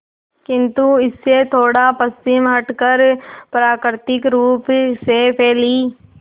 किंतु इससे थोड़ा पश्चिम हटकर प्राकृतिक रूप से फैली